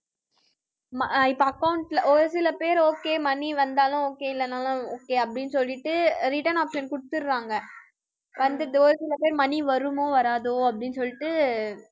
ஆஹ் இப்ப account ல ஒரு சில பேர் okay money வந்தாலும் okay இல்லைனாலும் okay அப்படின்னு சொல்லிட்டு return option கொடுத்துடுறாங்க. வந்துட்டு ஒரு சில பேர் money வருமோ வராதோ அப்படின்னு சொல்லிட்டு